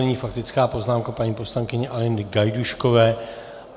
Nyní faktická poznámka paní poslankyně Aleny Gajdůškové.